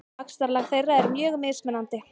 Vaxtarlag þeirra er mjög mismunandi.